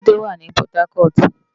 Ébùté wá ni Pòtákòt